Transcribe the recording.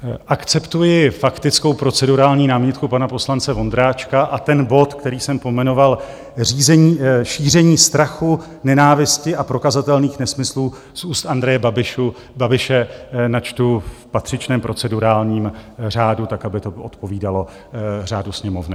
Akceptuji faktickou procedurální námitku pana poslance Vondráčka a ten bod, který jsem pojmenoval Šíření strachu, nenávisti a prokazatelných nesmyslů z úst Andreje Babiše načtu v patřičném procedurálním řádu tak, aby to odpovídalo řádu Sněmovny.